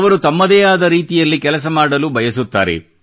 ಅವರು ತಮ್ಮದೇ ಆದ ರೀತಿಯಲ್ಲಿ ಕೆಲಸ ಮಾಡಲು ಬಯಸುತ್ತಾರೆ